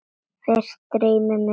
Fyrst dreymir mig ræktun.